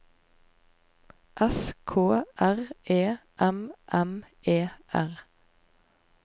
S K R E M M E R